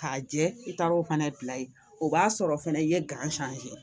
K'a jɛ i taar'o fana bila yen o b'a sɔrɔ fɛnɛ i ye